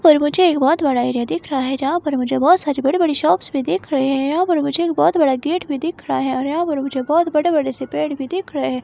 पर मुझे एक बहुत बड़ा एरिया दिख रहा है जहां पर मुझे बहुत सारी बड़ी-बड़ी शॉप्स भी दिख रही है यहाँ पर मुझे बहुत बड़ा गेट भी दिख रहा है यहाँ पर मुझे बहुत बड़े-बड़े से पेड़ भी देख रहे हैं।